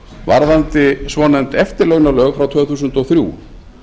varðandi svonefnd eftirlaunalög frá tvö þúsund og þrjú